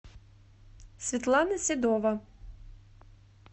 светлана седова